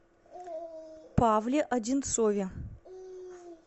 павле одинцове